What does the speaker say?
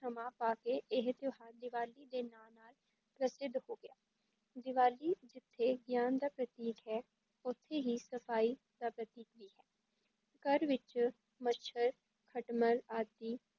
ਸਮਾਂ ਪਾ ਕੇ ਇਹ ਤਿਉਹਾਰ ਦੀਵਾਲੀ ਦੇ ਨਾਲ ਨਾਲ ਪ੍ਰਸਿੱਧ ਹੋ ਗਿਆ, ਦੀਵਾਲੀ ਜਿੱਥੇ ਗਿਆਨ ਦਾ ਪ੍ਰਤੀਕ ਹੈ ਉੱਥੇ ਹੀ ਸਫ਼ਾਈ ਦਾ ਪ੍ਰਤੀਕ ਵੀ ਹੈ, ਘਰ ਵਿੱਚ ਮੱਛਰ, ਖਟਮਲ ਆਦਿ,